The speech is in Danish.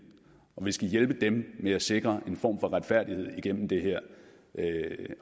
og vi skal hjælpe dem med at sikre en form for retfærdighed igennem det her